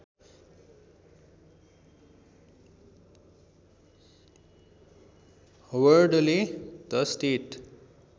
हवर्डले the state